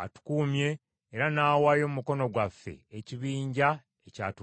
Atukuumye era n’awaayo mu mukono gwaffe ekibinja ekyatulumbye.